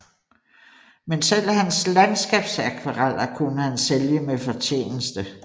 Men selv hans landskabsakvareller kunne han sælge med fortjeneste